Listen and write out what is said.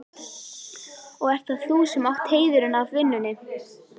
Og ert það þú sem átt heiðurinn af vinnunni?